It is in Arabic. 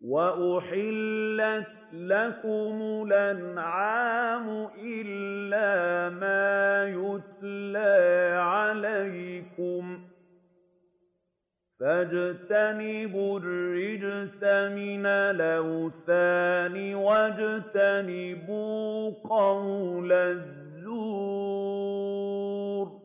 وَأُحِلَّتْ لَكُمُ الْأَنْعَامُ إِلَّا مَا يُتْلَىٰ عَلَيْكُمْ ۖ فَاجْتَنِبُوا الرِّجْسَ مِنَ الْأَوْثَانِ وَاجْتَنِبُوا قَوْلَ الزُّورِ